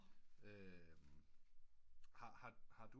Har du